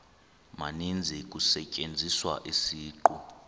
maninzi kusetyenziswa isiqu